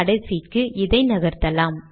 compile